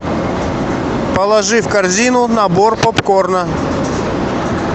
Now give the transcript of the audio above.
положи в корзину набор попкорна